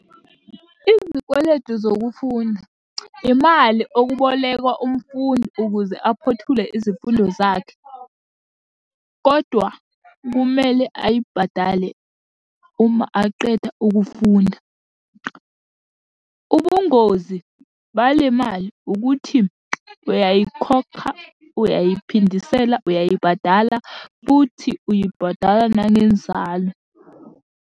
Izikweletu zokufunda, imali okubolekwa umfundi ukuze aphothule izifundo zakhe, kodwa kumele ayibhadale uma aqeda ukufunda. Ubungozi balemali ukuthi, uyayikhokha, uyayiphindisela, uyayibhadala, futhi uyibhadala nanenzalo.